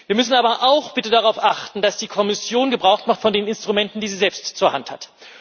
Wir müssen aber auch bitte darauf achten, dass die Kommission Gebrauch macht von den Instrumenten, die sie selbst zur Hand hat.